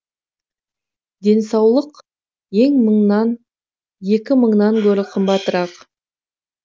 денсаулық екі мыңнан гөрі қымбатырақ